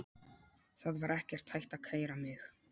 Það var ekkert hægt að kæra mig.